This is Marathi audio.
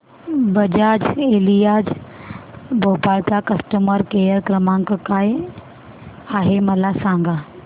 बजाज एलियांज भोपाळ चा कस्टमर केअर क्रमांक काय आहे मला सांगा